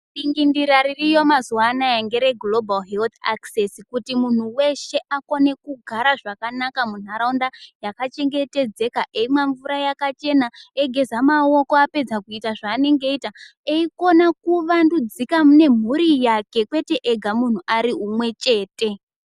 Dingindira ririyo mazuwanaya ngere "Grobari herithi akisesi" kuti munhu weshe akone kugara zvakanaka munharaunda yakachengetedzeka eimwa mvura yakachena eyigeza maoko apedza kuita zvanenge eyita eyikona kuvandudzika ne mhuri yake kwete ega munhu ari umwe chete.